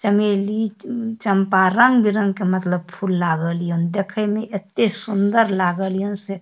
चमेली चंपा रंग-बिरंग के मतलब फूल लागल या देखे में एते सुंदर लागल या से --